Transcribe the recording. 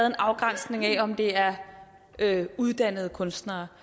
en afgrænsning af om det er uddannede kunstnere